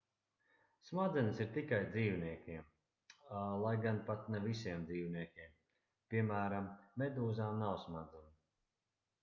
smadzenes ir tikai dzīvniekiem lai gan pat ne visiem dzīvniekiem; piemēram medūzām nav smadzeņu